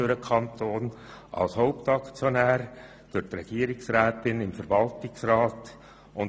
Der Kanton ist Hauptaktionär, und die Regierungsrätin ist Mitglied des Verwaltungsrats.